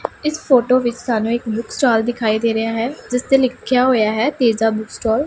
ਇਸ ਫੋਟੋ ਵਿੱਚ ਸਾਨੂੰ ਇੱਕ ਬੁੱਕ ਸਟੋਲ ਦਿਖਾਈ ਦੇ ਰਿਹਾ ਹੈ ਜਿਸ ਤੇ ਲਿੱਖਿਆ ਹੋਇਆ ਹੈ ਤੇਜ਼ਾ ਬੁੱਕ ਸਟੋਲ ।